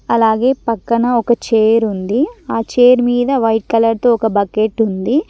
అలాగే పక్కన ఒక చైర్ ఉంది ఆ చైర్ మీద వైట్ కలర్ తో ఒక బకెట్ ఉంది.